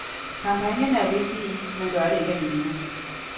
Kampagnerne er vigtige, men gør det ikke alene.